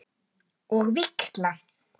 Og víxla?